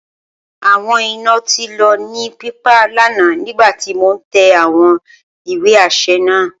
Awọn ina ti lọ ni pipa lana nigbati mo n tẹ awọn iwe aṣẹ naa.